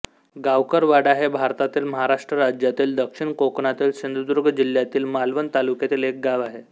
गावकरवाडा हे भारतातील महाराष्ट्र राज्यातील दक्षिण कोकणातील सिंधुदुर्ग जिल्ह्यातील मालवण तालुक्यातील एक गाव आहे